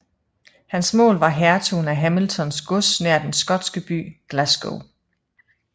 Hans mål var hertugen af Hamiltons gods nær den skotske by Glasgow